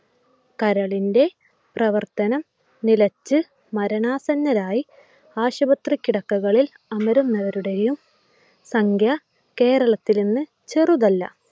കരളിൻ്റെ പ്രവർത്തനം നിലച്ചു മരണാസന്നരായി ആശുപത്രി കിടക്കകളിൽ അമരുന്നവരുടെയും സംഖ്യ കേരളത്തിൽ ഇന്ന് ചെറുതല്ല.